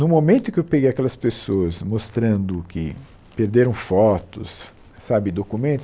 No momento em que eu peguei aquelas pessoas mostrando que perderam fotos sabe, documentos...